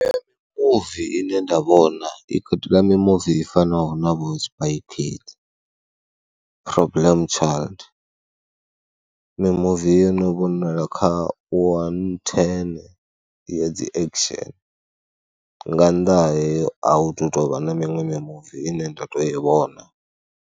Mimuvi ine nda vhona, hu na muvi i fanaho na vho Spy Kids problem, Problem Child, mimuvi yo no vhonala kha wani thene ya dzi action. Nga nnḓa hayo a hu tou vha na miṅwe mimuvi ine nda tou i vhona.